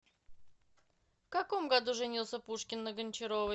в каком году женился пушкин на гончаровой